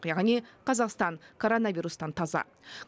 яғни қазақстан коронавирустан таза